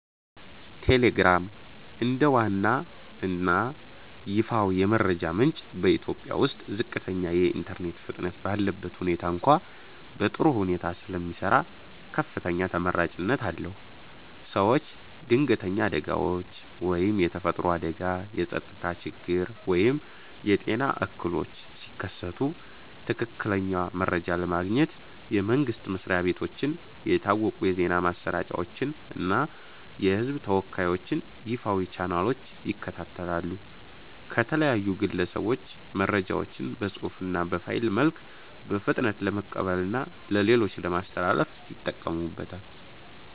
ቴሌግራም፦ እንደ ዋና እና ይፋዊ የመረጃ ምንጭ በኢትዮጵያ ውስጥ ዝቅተኛ የኢንተርኔት ፍጥነት ባለበት ሁኔታ እንኳ በጥሩ ሁኔታ ስለሚሰራ ከፍተኛ ተመራጭነት አለው። ሰዎች ድንገተኛ አደጋዎች (የተፈጥሮ አደጋ፣ የጸጥታ ችግር ወይም የጤና እክሎች) ሲከሰቱ ትክክለኛ መረጃ ለማግኘት የመንግስት መስሪያ ቤቶችን፣ የታወቁ የዜና ማሰራጫዎችን እና የህዝብ ተወካዮችን ይፋዊ ቻናሎች ይከታተላሉ። ከተለያዩ ግለሰቦች መረጃዎችን በፅሁፍ እና በፋይል መልክ በፍጥነት ለመቀበልና ለሌሎች ለማስተላለፍ ይጠቀሙበታል።